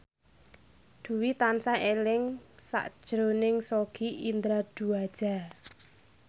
Dwi tansah eling sakjroning Sogi Indra Duaja